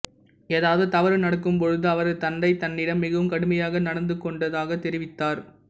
ஏதாவது தவறு நடக்கும் பொழுது அவரது தந்தை தன்னிடம் மிகவும் கடுமையாக நடந்துகொண்டதாகத் தெரிவித்தார்